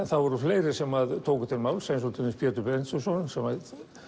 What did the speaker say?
það voru fleiri sem tóku til máls til dæmis Pétur Benediktsson sem